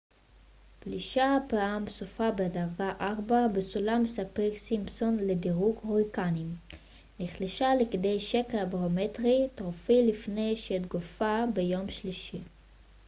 פלישיה פעם סופה בדרגה 4 בסולם ספיר-סימפסון לדירוג הוריקנים נחלשה לכדי שקע ברומטרי טרופי לפני שהתפוגגה ביום שלישי